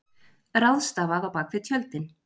Ráðstafað á bak við tjöldin